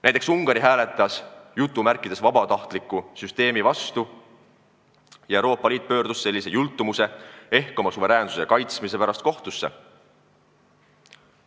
Näiteks Ungari hääletas vabatahtlikkusel põhineva süsteemi vastu ja Euroopa Liit pöördus sellise jultumuse ehk riigi suveräänsuse kaitsmise pärast kohtusse.